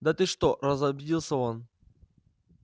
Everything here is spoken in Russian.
да ты что разобиделся он